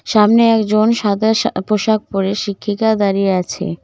সামনে একজন সাদা শা পোশাক পড়ে শিক্ষিকা দাঁড়িয়ে আছে।